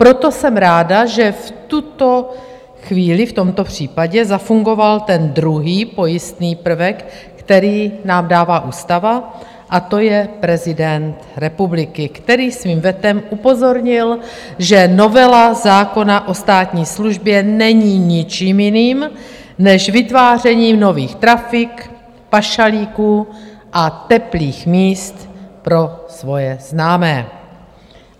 Proto jsem ráda, že v tuto chvíli v tomto případě zafungoval ten druhý pojistný prvek, který nám dává ústava, a to je prezident republiky, který svým vetem upozornil, že novela zákona o státní službě není ničím jiným než vytvářením nových trafik, pašalíků a teplých míst pro svoje známé.